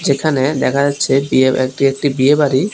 এখানে দেখা যাচ্ছে বিয়ে এটি একটি বিয়ে বাড়ি।